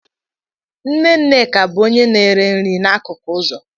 Nne Nneka bụ onye na ere nri n'akụkụ ụzọ.